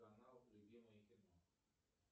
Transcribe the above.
канал любимое кино